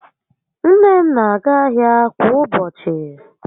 Nne m n'aga ahịa kwa ụbọchị